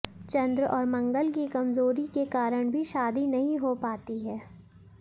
च्रंद और मंगल की कमजोरी के कारण भी शादी नही हो पाती है